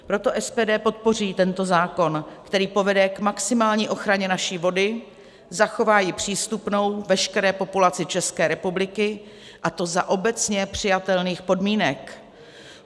Proto SPD podpoří tento zákon, který povede k maximální ochraně naší vody, zachová ji přístupnou veškeré populaci České republiky, a to za obecně přijatelných podmínek.